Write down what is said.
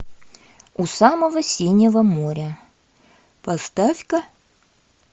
у самого синего моря поставь ка